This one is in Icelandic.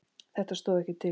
Þetta stóð ekkert til.